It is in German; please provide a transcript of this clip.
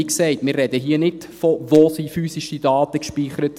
Wie gesagt, wir reden hier nicht von «Wo sind physische Daten gespeichert?».